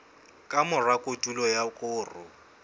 ka mora kotulo ya koro